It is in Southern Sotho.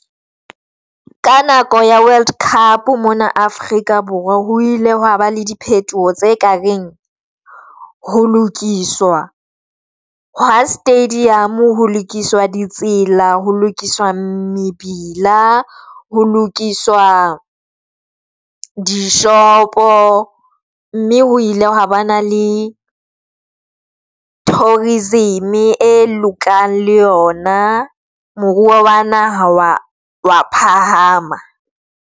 Ka nako ya world cup mona Afrika Borwa ho ile hwa ba le diphetoho tse ka reng ho lokiswa ha stadium, ho lokiswa di tsela, ho lokiswa mebila, ho lokiswa dishopo, mme ho ile ha ba na le tourism e lokang le yona. Moruo wa naha wa phahama.